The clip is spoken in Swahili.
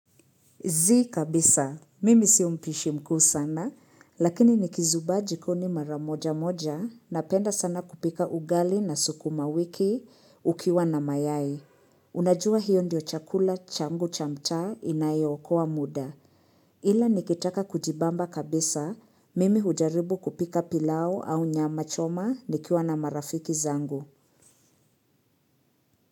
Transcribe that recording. Zii kabisa, mimi sio mpishi mkuu sana, lakini nikizubaa jikoni maramoja moja, napenda sana kupika ugali na sukuma wiki ukiwa na mayai. Unajua hiyo ndio chakula changu chamta inayo okoa muda. Ila nikitaka kujibamba kabisa, mimi hujaribu kupika pilau au nyama choma nikiwa na marafiki zangu.